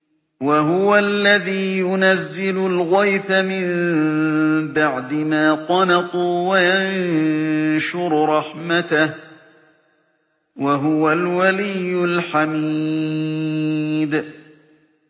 وَهُوَ الَّذِي يُنَزِّلُ الْغَيْثَ مِن بَعْدِ مَا قَنَطُوا وَيَنشُرُ رَحْمَتَهُ ۚ وَهُوَ الْوَلِيُّ الْحَمِيدُ